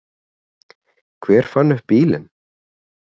Hver fann upp bílinn?